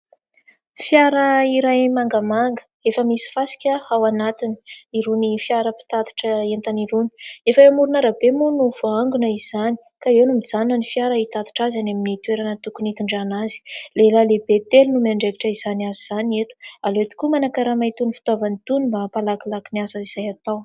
Fiara iray mangamaga efa misy fasika ao anatiny. Irony fiara mpitatitra entana irony. Efa amoron'arabe moa no voangona izany ka eo no mijanona ny fiara hitatitra azy any amin'ny toerana tokony hitondrana azy. Lehilahy lehibe telo no miandraikitra izany asa izany eto ; aleo tokoa manan-karama itony fitaovany itony mba hampalakilaky ny asa izay atao.